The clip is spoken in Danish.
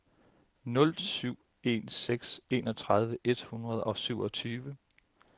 nul syv en seks enogtredive et hundrede og syvogtyve